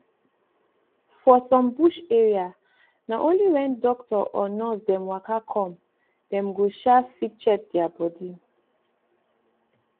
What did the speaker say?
for some bush area na only wen doctor or nurse dem waka come dem go um fit check dia bodi